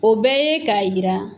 O bɛ ye ka yira